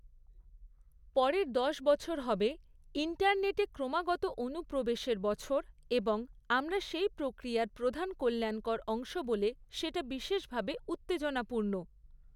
পরের দশ বছর হবে ইন্টারনেটে ক্রমাগত অনুপ্রবেশের বছর, এবং আমরা সেই প্রক্রিয়ার প্রধান কল্যাণকর অংশ বলে সেটা বিশেষভাবে উত্তেজনাপূর্ণ।